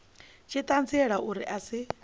tshi ṱanziela uri a si